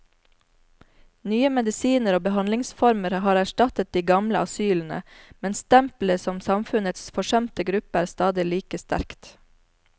Nye medisiner og behandlingsformer har erstattet de gamle asylene, men stempelet som samfunnets forsømte gruppe er stadig like sterkt.